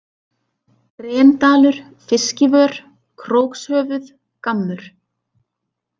Grendalur, Fiskivör, Krókshöfuð, Gammur